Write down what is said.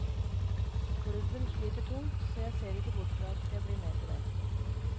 Klubben sliter tungt, så jeg ser ikke bort fra at jeg blir med på det.